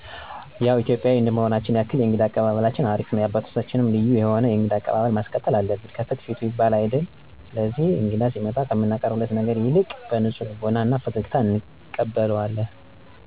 ያው ኢትዮጵያዊ እንደመሆናችን ያክል የእንግዳ አቀባበላችን አሪፍነው። የአባቶቻችንም ልዩ የሆነ የእንግዳ አቀባበል ማስቀጠልአለብን። "ከፍትፍቱ ፊቱ" ይባል አይደል ስለዚህ እንግዳ ሲመጣ ከምናቀርብለት ነገር ይልቅ በንጹህ ልቦና እና ፈገግታ እንቀበለዋለን።